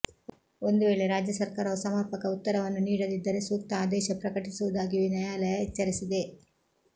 ಒಂದು ವೇಳೆ ರಾಜ್ಯ ಸರ್ಕಾರವು ಸಮರ್ಪಕ ಉತ್ತರವನ್ನು ನೀಡದಿದ್ದರೆ ಸೂಕ್ತ ಆದೇಶ ಪ್ರಕಟಿಸುವುದಾಗಿಯೂ ನ್ಯಾಯಾಲಯ ಎಚ್ಚರಿಸಿದೆ